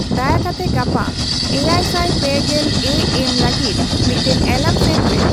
ᱫᱟᱭᱟ ᱠᱟᱛᱮ ᱜᱟᱯᱟ ᱮᱭᱟᱭ ᱥᱟᱭ ᱯᱮ ᱜᱮᱞ ᱮ ᱮᱢ ᱞᱟᱹᱜᱤᱫ ᱢᱤᱫᱴᱟᱝ ᱮᱞᱟᱨᱢ ᱥᱮᱴ ᱢᱮ